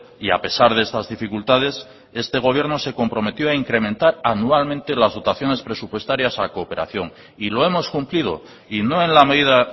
y a pesar de estas dificultades este gobierno se comprometió a incrementar anualmente las dotaciones presupuestarias a cooperación y lo hemos cumplido y no en la medida